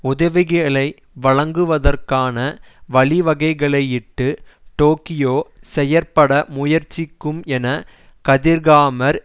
உதவிகளை வழங்குவதற்கான வழிவகைகளையிட்டு டோக்கியோ செயற்பட முயற்சிக்கும் என கதிர்காமர்